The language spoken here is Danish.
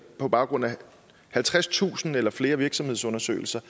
på baggrund af halvtredstusind eller flere virksomhedsundersøgelser